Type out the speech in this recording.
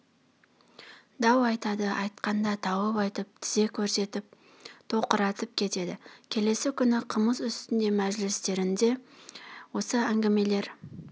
дау айтады айтқанда тауып айтып тізе көрсетіп тоқыратып кетеді келесі күні қымыз үстіндегі мәжілістерінде осы әңгімелер